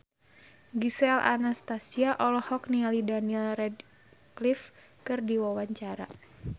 Gisel Anastasia olohok ningali Daniel Radcliffe keur diwawancara